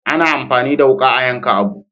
A na amfani da wuka a yanka abu